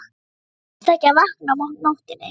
Það venst ekki að vakna á nóttunni.